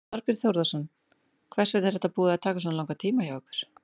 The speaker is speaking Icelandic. Þorbjörn Þórðarson: Hvers vegna er þetta búið að taka svona langan tíma hjá ykkur?